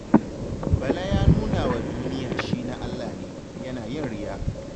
Bala ya nuna wa duniya shi na Allah ne, yana yin riya.